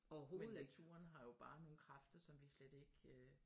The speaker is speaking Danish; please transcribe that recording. Men naturen har jo bare nogle kræfter som vi slet ikke øh